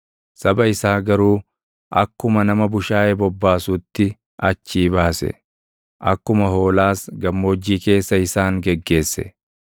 Saba isaa garuu akkuma nama bushaayee bobbaasuutti achii baase; akkuma hoolaas gammoojjii keessa isaan geggeesse.